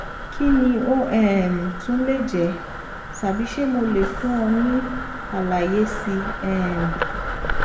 kí ni ó um tún lè jẹ tàbí ṣé mo lè fún ọ ní àlàyé síi um